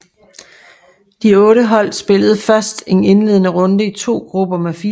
De otte hold spillede først en indledende runde i to grupper med fire hold